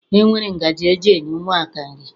E nwere ngaji eji enye ụmụaka nri.